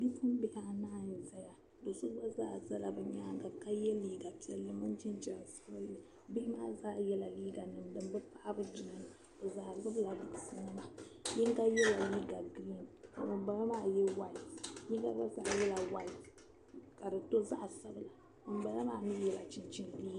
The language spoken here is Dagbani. Bipuɣibihi laɣim zaya do'so gba zaa zala bɛ nyaaŋa ka ye liiga piɛlli mini jinjɛm sabinli bihi maa yela liiganima din be paai bɛ duna bɛ zaa gbula bukunim yinga yela liiga buluu ka ŋuni bala maa ye waiti o yinga yela waiti ka di do zaɣ'sabinli ŋʋni bala mi nyɛla chinchini liiga